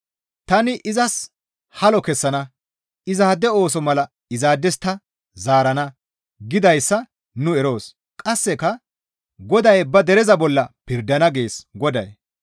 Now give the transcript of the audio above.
«Tani izas halo kessana; izaade ooso mala izaades ta zaarana» gidayssa nu eroos. Qasseka, «Goday ba dereza bolla pirdana» gees Goday.